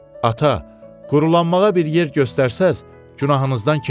Ata, quruqulanmağa bir yer göstərsəz, günahınızdan keçərəm.